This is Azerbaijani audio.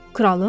Kralın?